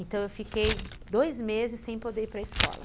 Então eu fiquei dois meses sem poder ir para escola.